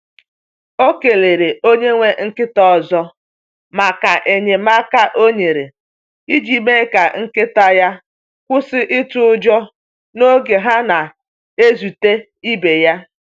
O kelele onye nwe nkịta ọzọ maka enyemaka o nyere iji mee ka nkịta ya kwụsị itụ ụjọ n’oge ha na-ezute ibe ya.